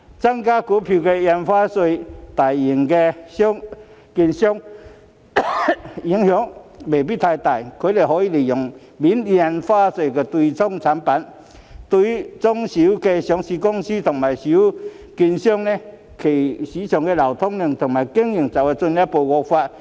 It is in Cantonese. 增加印花稅對大型券商的影響未必太大，因為他們可以利用免印花稅的對沖產品，但中小型上市公司和中小券商的市場流通量和經營則會進一步惡化。